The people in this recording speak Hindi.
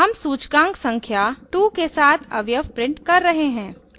हम सूचकांक संख्या 2 के साथ अवयव प्रिंट कर रहे हैं